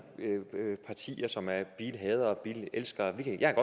partier som er bilhadere og bilelskere jeg